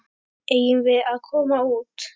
Eigum við að koma út?